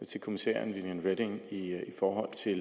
til kommissæren viviane reding i forhold til